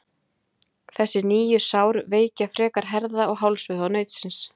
Þessi nýju sár veikja frekar herða- og hálsvöðva nautsins.